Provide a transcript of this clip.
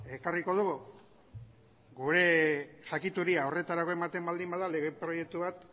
ekarriko dugu gure jakituria horretarako ematen baldin bada lege proiektu bat